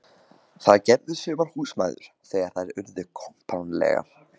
Það gerðu sumar húsmæður þegar þær urðu kompánlegar.